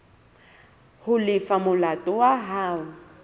ho lefa molato wa hao